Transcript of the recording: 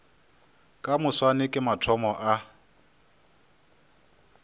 ka moswane ke mathomo a